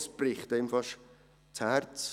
Das bricht einem fast das Herz.